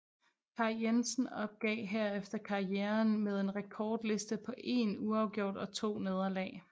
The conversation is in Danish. Kaj Jensen opgav herefter karrieren med en rekordliste på én uafgjort og to nederlag